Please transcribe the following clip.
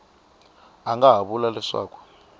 a nga ha vula leswaku